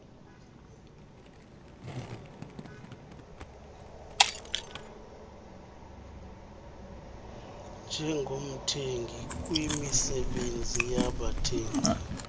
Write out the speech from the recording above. njengomthengi kwimisebenzi yabathengi